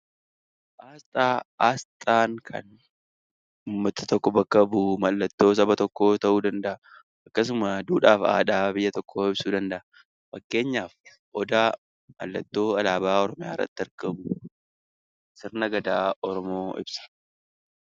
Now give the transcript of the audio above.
Asxaan kan uummata tokko bakka bu'u mallattoo saba tokkoo ta'uu danda'a. Akkasumas duudhaa fi aadaa biyya tokkoo ibsuu danda'a. Fakkeenyaaf Odaa alaabaa Oromiyaa irratti argamu sirna Gadaa Oromoo ibsa.